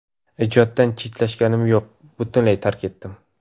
Ijoddan chetlashganim yo‘q, butunlay tark etdim.